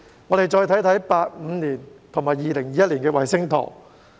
我們再看一看1985年和2021年的衞星圖。